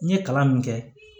N ye kalan min kɛ